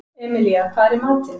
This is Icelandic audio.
Emilía, hvað er í matinn?